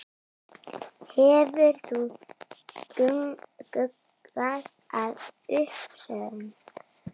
Hefur þú hugað að uppsögn?